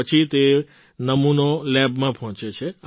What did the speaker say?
તે પછી તે નમૂનો લેબમાં પહોંચે છે